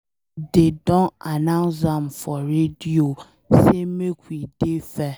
Dey don announce am for radio say make we dey fair.